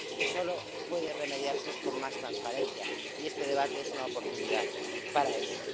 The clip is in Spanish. Y esto solo puede remediarse con más transparencia, y este debate es una oportunidad para eso.